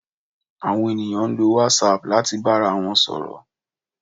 Àwọn ènìyàn ń lo whatsapp láti bára wọn sọ̀rọ̀